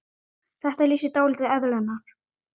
Þetta lýsir dálítið eðli hennar.